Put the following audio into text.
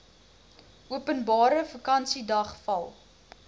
openbare vakansiedag val